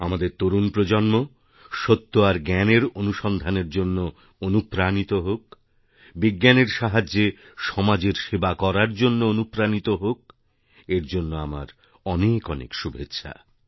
আমাদের তরুণ প্রজন্ম সত্যআর জ্ঞানের অনুসন্ধানের জন্য অনুপ্রাণিত হোক বিজ্ঞানের সাহায্যে সমাজের সেবা করারজন্য অনুপ্রাণিত হোক এর জন্য আমার অনেক অনেক শুভেচ্ছা